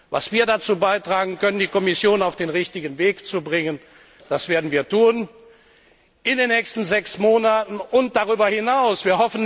Was wir dazu beitragen können, um die Kommission auf den richtigen Weg zu bringen, das werden wir in den nächsten sechs Monaten und darüber hinaus tun.